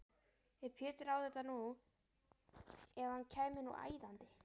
Ef Pétur á þetta nú. ef hann kæmi nú æðandi!